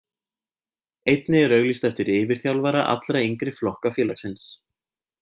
Einnig er auglýst eftir yfirþjálfara allra yngri flokka félagsins.